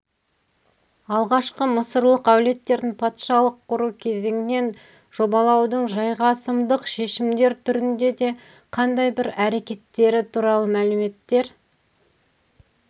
алғашқы мысырлық әулеттердің патшалық құру кезеңінен жобалаудың жайғасымдық шешімдер түрінде де қандай бір әрекеттері туралы мәліметтер